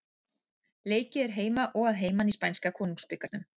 Leikið er heima og að heiman í spænska konungsbikarnum.